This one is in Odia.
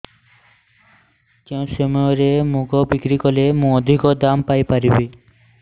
କେଉଁ ସମୟରେ ମୁଗ ବିକ୍ରି କଲେ ମୁଁ ଅଧିକ ଦାମ୍ ପାଇ ପାରିବି